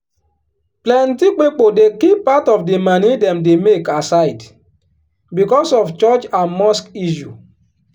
plenty pipo dey keep part of di moni dem dey make aside becos of church and mosque issue.